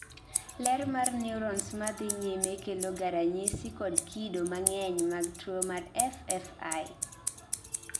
lal mar neurons madhii nyime keloga ranyisi kod kido mang'eny mag tuwo mar FFI